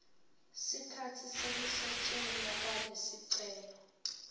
sikhatsi sekusetjentwa kwalesicelo